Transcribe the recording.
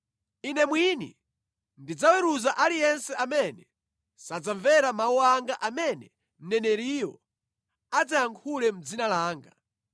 Ine mwini ndidzaweruza aliyense amene sadzamvera mawu anga amene mneneriyo adzayankhula mʼdzina langa.